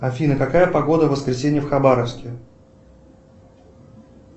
афина какая погода в воскресенье в хабаровске